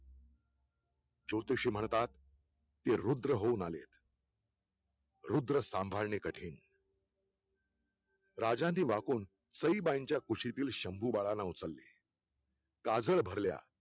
ज्योतिषी म्हणतात ते रुद्र होऊन आले रुद्र सांभाळणे कठीण राजाने वाकून सईबाईंच्या कुशीतील शंभू बाळांना उचलले काजळ भरल्या